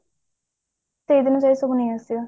ସେଇଦିନ ଯାଇ ସବୁ ନେଇ ଆସିବା